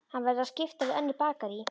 Hann verður að skipta við önnur bakarí.